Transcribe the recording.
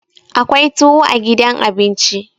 akwai tuwo a gidan abinci